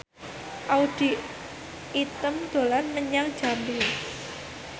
Audy Item dolan menyang Jambi